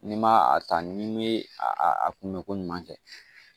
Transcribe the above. N'i ma a ta n'i me a kunbɛ ko ɲuman kɛ